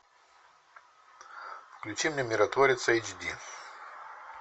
включи мне миротворец эйч ди